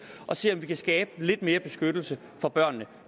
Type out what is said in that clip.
at se på om vi kan skabe lidt mere beskyttelse for børnene